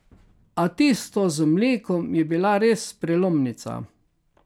A tisto z mlekom je bila res prelomnica.